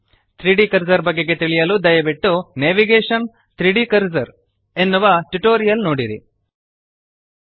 3ದ್ ಕರ್ಸರ್ ಬಗೆಗೆ ತಿಳಿಯಲು ದಯವಿಟ್ಟು ನೇವಿಗೇಷನ್ - 3ದ್ ಕರ್ಸರ್ ನೇವಿಗೇಶನ್ 3ದ್ ಕರ್ಸರ್ ಎನ್ನುವ ಟ್ಯುಟೋರಿಯಲ್ ನೋಡಿರಿ